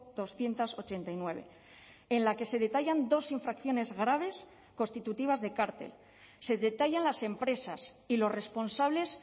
doscientos ochenta y nueve en la que se detallan dos infracciones graves constitutivas de cártel se detallan las empresas y los responsables